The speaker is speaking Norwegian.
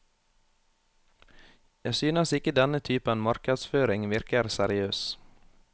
Jeg synes ikke denne typen markedsføring virker seriøs.